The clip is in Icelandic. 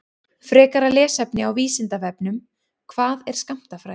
Frekara lesefni á Vísindavefnum: Hvað er skammtafræði?